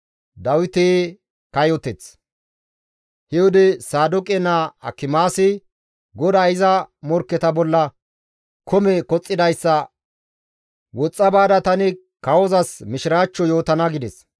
He wode Saadooqe naa Akimaasi, «GODAY iza morkketa bolla kome koxxidayssa woxxa baada tani kawozas mishiraachcho yootana» gides.